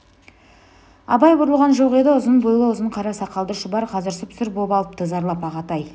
абай бұрылған жоқ еді ұзын бойлы ұзын қара сақалды шұбар қазір сұп-сұр боп алыпты зарлап ағатай